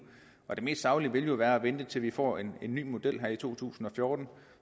det mest saglige ville jo være at vente til vi får en ny model her i to tusind og fjorten